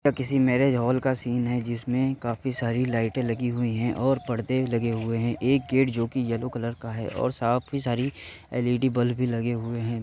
किसी marriage hall का scene है | जिसमें काफी सारी लाईटें लगी हुईं हैं और परदे लगे हुए हैं | एक गेट जो कि येलो कलर का है और साथ ही सारी एल.ई.डी. बल्ब भी लगे हुए हैं |